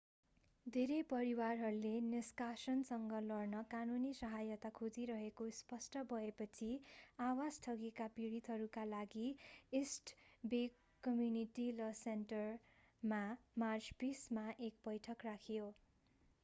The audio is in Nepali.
धेरै परिवारहरूले निष्कासनसँग लड्न कानूनी सहायता खोजिरहेको स्पष्ट भएपछि आवास ठगीका पीडितहरूका लागि इस्ट बे कम्युनिटी ल सेन्टरमा मार्च 20 मा एक बैठक राखियो